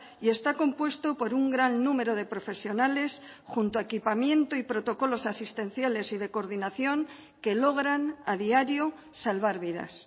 y está compuesto por un gran número de profesionales junto a equipamiento y protocolos asistenciales y de coordinación que logran a diario salvar vidas